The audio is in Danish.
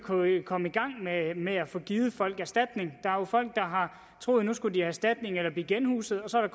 komme i gang med med at få givet folk erstatning er jo folk der har troet at nu skulle de have erstatning eller blive genhuset og så er